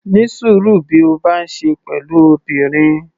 Ní sùúrú bí o bá ń ṣe pẹ̀lú obìnrin.